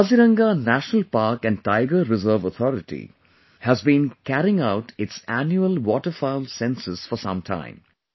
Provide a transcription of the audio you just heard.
The Kaziranga National Park & Tiger Reserve Authority has been carrying out its Annual Waterfowls Census for some time